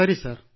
ಸರಿ ಸರ್